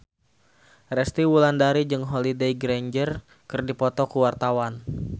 Resty Wulandari jeung Holliday Grainger keur dipoto ku wartawan